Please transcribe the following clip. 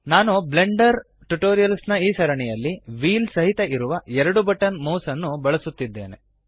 ನಾನು Blender tutorials ನ ಈ ಸರಣಿಯಲ್ಲಿ ವ್ಹೀಲ್ ಸಹಿತ ಇರುವ 2 ಬಟನ್ ಮೌಸ್ ನ್ನು ಬಳಸುತ್ತಿದ್ದೇನೆ